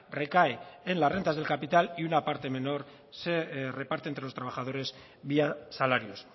recae en las rentas del capital y una parte menos se reparte entre los trabajadores vía salarios